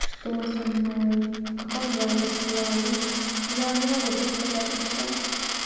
что со мной в каком я состоянии я не могу предсказать это всё